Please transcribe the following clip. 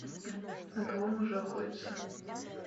на кого можно охотиться